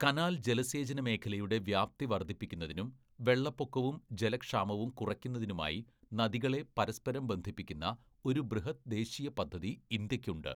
Canal ജലസേചന മേഖലയുടെ വ്യാപ്തി വർദ്ധിപ്പിക്കുന്നതിനും വെള്ളപ്പൊക്കവും ജലക്ഷാമവും കുറയ്ക്കുന്നതിനുമായി നദികളെ പരസ്പരം ബന്ധിപ്പിക്കുന്ന ഒരു ബൃഹത് ദേശീയപദ്ധതി ഇന്ത്യക്കുണ്ട്.